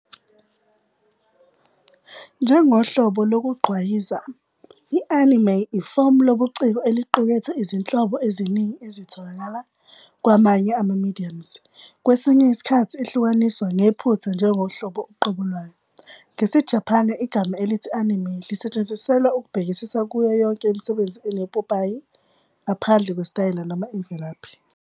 Njengohlobo lokugqwayiza, i-anime ifomu lobuciko eliqukethe izinhlobo eziningi ezitholakala kwamanye ama-mediums, kwesinye isikhathi ihlukaniswa ngephutha njengohlobo uqobo lwayo.. NgesiJapane, igama elithi "anime" lisetshenziselwa ukubhekisa kuyo yonke imisebenzi enopopayi, ngaphandle kwesitayela noma imvelaphi.